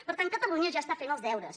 per tant catalunya ja està fent els deures